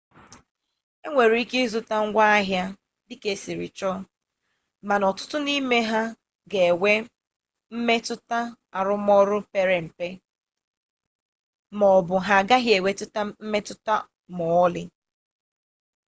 e nwere ike ịzụta ngwa ahịa dịka esiri chọ mana ọtụtụ n'ime ha ga enwe mmetụta arụmọrụ pere mpe m'ọbụ ha agaghị enwe mmetụta m'ọlị